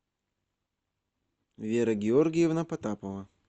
вера георгиевна потапова